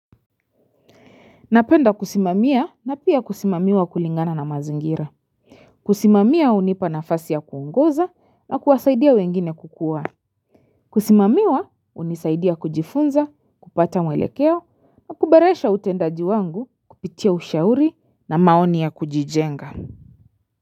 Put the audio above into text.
Napenda kusimamia na pia kusimamiwa kulingana na mazingira. Kusimamia hunipa nafasi ya kuongoza na kuwasaidia wengine kukuwa. Kusimamiwa hunisaidia kujifunza, kupata mwelekeo, na kuboresha utendaji wangu, kupitia ushauri na maoni ya kujijenga.